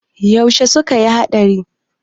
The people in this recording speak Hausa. yaushe suka yi hadari?